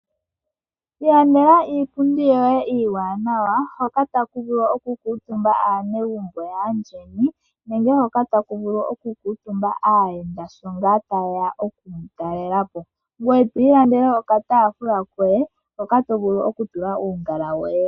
Ilandela iipundi yoye iiwaanawa hoka taku vulu okukuutumba aanegumbo yaandjeni nenge hoka taku vulu okukuutumba aayenda shi ngaa taye ya oku mu talela po. Ilandela wo okataafula koye hoka to vulu okutula uungala woye.